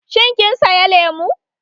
Shin kin saya lemu?